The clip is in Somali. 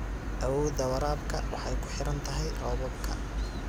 Awoodda waraabka waxay ku xiran tahay roobabka.